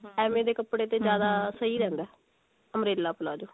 ਐਵੇਂ ਦੇ ਕੱਪੜੇ ਤੇ ਜਿਆਦਾ ਸਹੀ ਰਹਿੰਦਾ umbrella palazzo